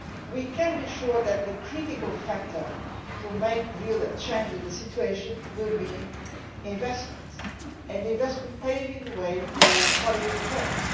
We can be sure that the critical factor to make a real change in the situation will be investment, and investment paving the way for quality jobs.